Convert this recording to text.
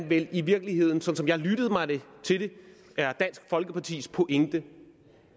vel i virkeligheden sådan som jeg lyttede mig til det er dansk folkepartis pointe